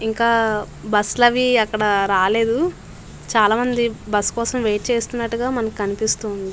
ఇంకా బస్సు లు అని అక్కడ రాలేదు. చాలా మంది బస్సు కోసము వెయిట్ చేస్తూ ఉన్నట్టుగా మనకు